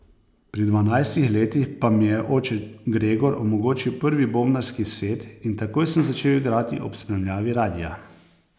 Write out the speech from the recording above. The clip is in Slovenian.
Pri dvanajstih letih pa mi je oče Gregor omogočil prvi bobnarski set in takoj sem začel igrati ob spremljavi radia.